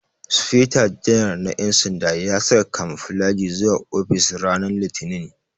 Sufeto janar na ƴan sanda ya saka kamuflaji zuwa ofis ranan litinin